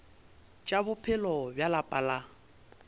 tša bophelo bja lapa la